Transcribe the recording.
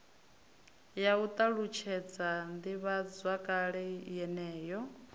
ya u ṱalutshedza ḓivhazwakale yeneyo